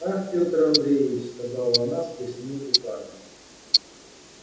ах пётр андреич сказала она сплеснув руками